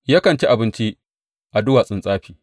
Yakan ci abinci a duwatsun tsafi.